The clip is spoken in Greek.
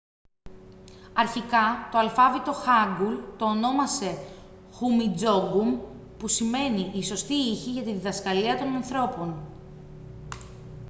αρχικά το αλφάβητο χάνγκουλ το ονόμασε χουμιντζόνγκουμ που σημαίνει «οι σωστοί ήχοι για τη διδασκαλία των ανθρώπων»